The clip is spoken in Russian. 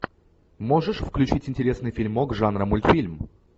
можешь включить интересный фильмок жанра мультфильм